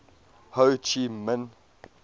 ho chi minh